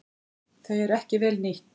Þau eru ekki vel nýtt.